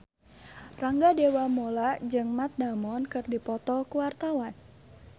Rangga Dewamoela jeung Matt Damon keur dipoto ku wartawan